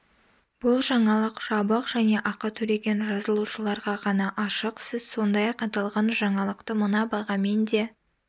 бұл жаңалық жабық және ақы төлеген жазылушыларға ғана ашық сіз сондай-ақ аталған жаңалықты мына бағамен де